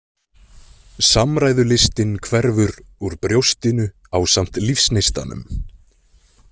Samræðulistin hverfur úr brjóstinu ásamt lífsneistanum.